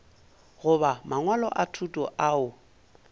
goba mangwalo a thuto ao